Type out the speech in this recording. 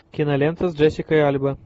кинолента с джессикой альба